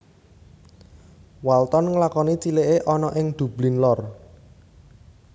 Walton nglakoni cileke ana ing Dublin Lor